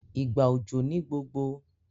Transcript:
ìgbà òjò ní gbogbo